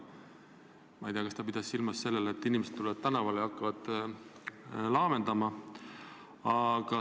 Ma ei tea, kas ta pidas silmas seda, et inimesed tulevad tänavale ja hakkavad laamendama, või midagi muud.